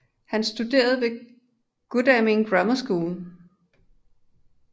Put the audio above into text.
Han studerede ved Godalming Grammar School